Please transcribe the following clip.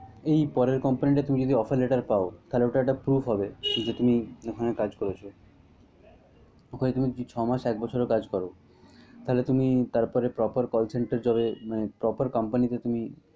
এই পরের company টা তুমি যদি offer letter পাও তাহলে ওটা একটা proof হবে যে তুমি ওখানে কাজ করেছ। ওখানে তুমি যদি ছয়মাস একবছর ও কাজ কর তাহলে তুমি তারপরে proper call center job এ মানে proper company তে তুমি।